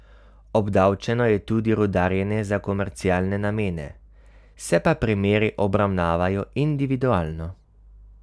Obdavčeno je tudi rudarjenje za komercialne namene, se pa primeri obravnavajo individualno.